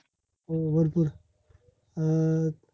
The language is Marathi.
हो, भरपूर अं